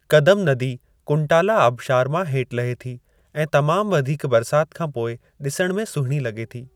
कदम नदी कुंटाला आबिशार मां हेठि लहे थी ऐं तमाम वधीक बरसाति खां पोइ डि॒सणु में सुहिणी लगे॒ थी।